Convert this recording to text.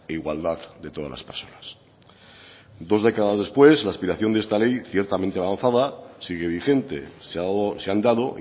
igualdad de todas las personas dos décadas después la aspiración de esta ley ciertamente avanzada sigue vigente se han dado